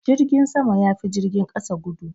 Jirgin sama ya fi jirgin kasa gudu.